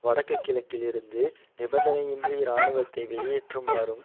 வடக்கு கிழக்கில் இருந்து நிபந்தனையின்றி இராணுவத்தை வெளியேற்றுமாறும்